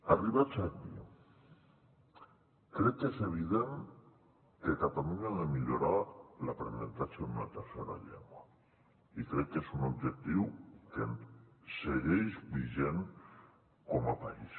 arribats aquí crec que és evident que catalunya ha de millorar l’aprenentatge d’una tercera llengua i crec que és un objectiu que segueix vigent com a país